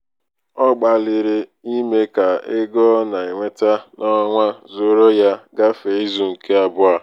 ọ gbalịrị ime ka ego ọ na-enweta n'ọnwa zuoro ya gafee izu nke abụọ.